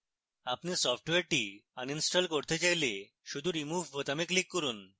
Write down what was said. আপনি সফ্টওয়্যারটি আনইনস্টল করতে চাইলে শুধু remove বোতামে click করুন